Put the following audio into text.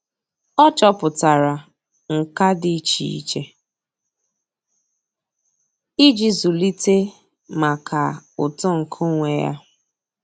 Ọ́ chọ́pụ̀tárà nkà dị́ iche iche íjí zụ́líté màkà uto nke onwe ya.